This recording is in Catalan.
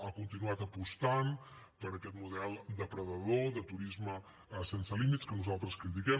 ha continuat apostant per aquest model depredador de turisme sense límits que nosaltres critiquem